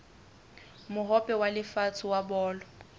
mohope wa lefatshe wa bolo